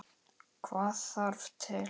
Hvað þarf til?